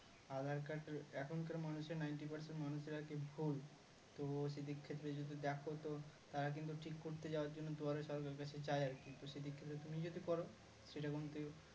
aadhar card এর এখানকার মানুষের ninty percent মানুষের আরকি ভুল তো সেইদিক থেকে যদি দেখো তো তারা কিন্তু ঠিক করতে যাওয়ার জন্য দুয়ারে সরকারকে চায় আরকি তো সেইদিক থেকে তুমি যদি করো সেটা কিন্তু